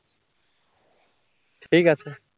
ঠিক আছে